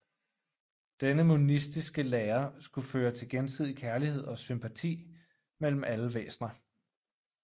Denne monistiske lære skulle føre til gensidig kærlighed og sympati mellem alle væsner